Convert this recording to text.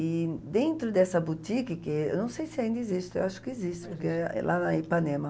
E dentro dessa boutique, que eu não sei se ainda existe, eu acho que existe, porque é lá na Ipanema.